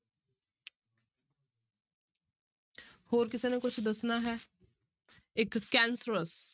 ਹੋਰ ਕਿਸੇ ਨੇ ਕੁਛ ਦੱਸਣਾ ਹੈ, ਇੱਕ cancerous